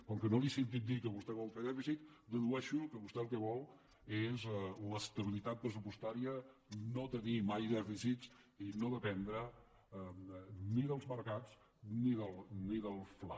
com que no li he sentit dir que vostè fer dèficit dedueixo que vostè el que vol és l’estabilitat pressupostària no tenir mai dèficits i no dependre ni dels mercats ni del fla